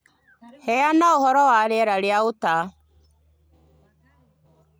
Heana ũhoro wa rĩera rĩa Utah